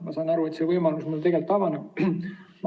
Ma saan aru, et see võimalus mul on.